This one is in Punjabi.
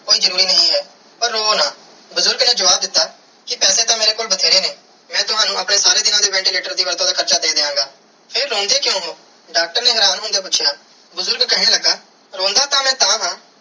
ਕੋਈ ਜਰੂਰੀ ਨਾਈ ਹੈ ਪਰ ਰੋਵੋ ਨਾ ਬੁਜ਼ਰਗ ਨੇ ਜਵਾਬ ਦਿੱਤਾ ਕੇ ਪੈਸੇ ਤੇ ਮੇਰੇ ਕੋਲ ਬਟੇਰੇ ਨੇ ਮੈਂ ਤਵਣੁ ਆਪਣੇ ਸਾਰੇ ਦੀਨਾ ਦੇ ventilator ਵੱਧ ਤੂੰ ਵੱਧ ਹਾਰਚਾ ਦੇ ਦੀਆ ਗਏ ਫਿਰ ਰੋਂਦੇ ਕ੍ਯੂਂ ਹੋ ਡਾਕਟਰ ਨੇ ਮਾਰਾਵਾਂ ਨੂੰ ਜਾ ਪੂਛਿਆ ਬੁਜ਼ਰਗ ਕੇਹਨ ਲਗਾ ਰੋਂਦਾ ਤੇ ਮੈਂ ਤਹਾ.